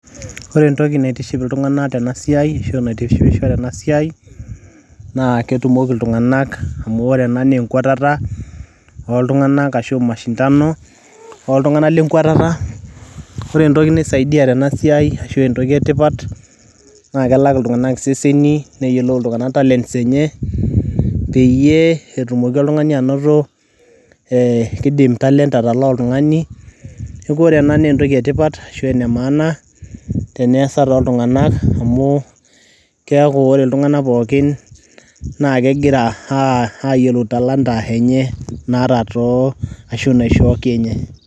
ore entoki naitiship iltunganak tena siai ashu enaitishipisho tena siai naa ketumoki iltungank, amu ore ena naa enkwatata oltunganak ashu mashindano ooltunganak lenkwatata . ore entoki naisaidia tena siai ashu entoki e tipat naa kelak intunganak iseseni neyiolou iltunganak talents enye peyie etumoki oltumoki oltungani anoto, ee kidim talent atalaa oltungani . niaku ore ena naa entoki etipat ashu ene maaana teneasa toltunganak amu keaku ore iltunganakpooki keaku kegira ayiolou talanta naata too ashu naishooki inye